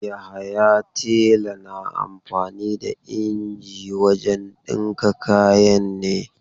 Yahaya tela na amfani da inji wajen dinki kayan ne.